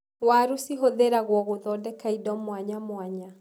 Waru cihũthĩragwo gũthondeka indo mwanyamwanya.